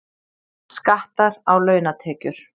Skattar á launatekjur